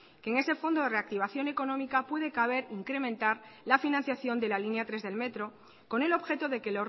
que en ese fondo de reactivación económica puede caber incrementar la financiación de la línea tres del metro con el objeto de que